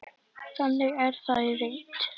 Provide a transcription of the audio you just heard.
Þannig er það í reynd.